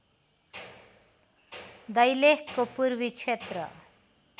दैलेखको पूर्वी क्षेत्र